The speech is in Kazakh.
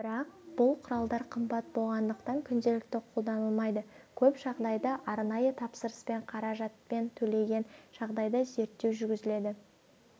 бірақ бұл құралдар қымбат болғандықтан күнделікті қолданылмайды көп жағдайда арнайы тапсырыспен қаражатын төлеген жағдайда зерттеу жүргізіледі